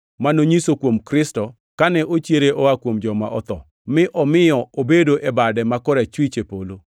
ma nonyiso kuom Kristo kane ochiere oa kuom joma otho, mi omiyo obedo e bade ma korachwich e polo,